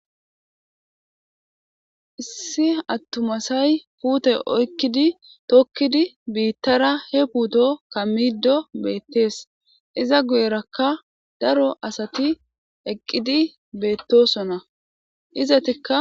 Issi atuma asi pute oyikkidi tokkidi bitara hee puto kamiddo betees.iza guyerakka daro asati eqqidi betosona izettikka